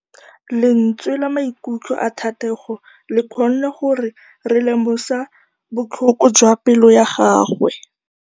Lentswe la maikutlo a Thategô le kgonne gore re lemosa botlhoko jwa pelô ya gagwe.